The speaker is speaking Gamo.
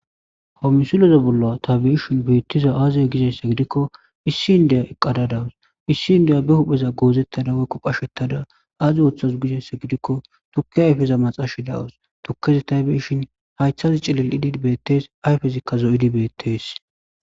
Ha misileza bolla tha be7eshin beeththiza aazee gizeyssa gidikko issi inddeya eqqada dawus; issi inddeya be hupheza goozeththada woykko qasheththada aazi wothasu gizeyssa gidikko thukke ayfeza maxaashi dawus; thukkezi tha be7ishin haythazi cilil7idi beeththees; ayfezikka zo7idi beeththees.